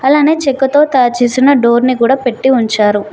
అలానే చెక్కతో తయారు చేసిన డోర్ ని కూడా పెట్టీ ఉంచారు.